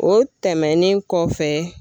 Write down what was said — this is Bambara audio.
O tɛmɛnen kɔfɛ